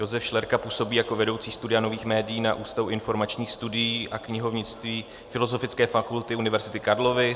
Josef Šlerka působí jako vedoucí Studia nových médií na Ústavu informačních studií a knihovnictví Filozofické fakulty Univerzity Karlovy.